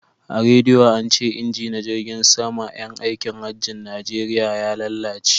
A rediyo ance inji na jirgin sama yan aikin hajjin najeriya ya lalace